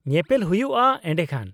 -ᱧᱮᱯᱮᱞ ᱦᱩᱭᱩᱜᱼᱟ ᱮᱰᱮᱠᱷᱟᱱ ᱾